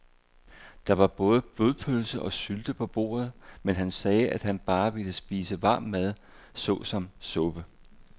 Der var både blodpølse og sylte på bordet, men han sagde, at han bare ville spise varm mad såsom suppe.